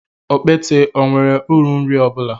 Okpete ọ nwere uru nri ọ bụla?